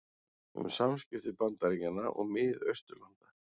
Um samskipti Bandaríkjanna og Mið-Austurlanda